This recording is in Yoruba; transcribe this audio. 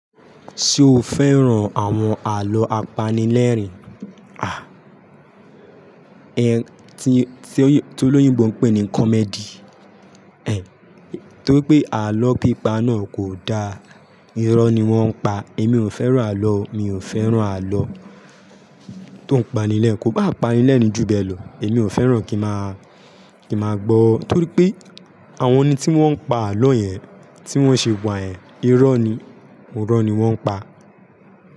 Ṣé o fẹ́ràn àwọn àlọ́ apanilẹ́rìn-ín, à? Ẹ̀, tí Olóyìnbó ń pè ní comedy, ẹ? Ṣé o fẹ́ràn àwọn àlọ́ apanilẹ́rìn-ín, à? Èmi ò fẹ́ràn àlọ́, mi ò fẹ́ràn àlọ́ tó ń pani lẹ́ẹ̀, kó bá pani lẹ́ẹ̀ ni ju bẹ́ẹ̀ lọ. Èmi ò fẹ́ràn kí ma kí ma gbọ́, torí pé àwọn ẹni tí wọ́n ń pa àlọ́ yẹn, tí wọ́n ṣe wa yen, irọ́ ni, irọ́ ni wọ́n ń pa.